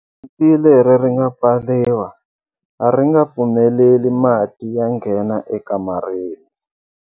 Rivanti leri ri nga pfariwa a ri nga pfumeleli mati ya nghena ekamareni.